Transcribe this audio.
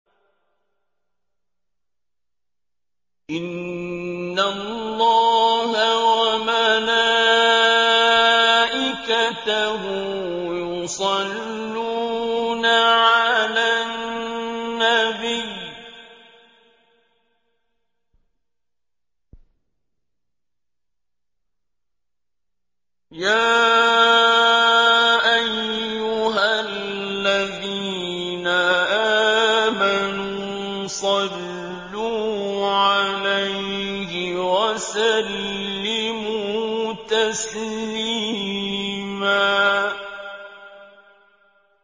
إِنَّ اللَّهَ وَمَلَائِكَتَهُ يُصَلُّونَ عَلَى النَّبِيِّ ۚ يَا أَيُّهَا الَّذِينَ آمَنُوا صَلُّوا عَلَيْهِ وَسَلِّمُوا تَسْلِيمًا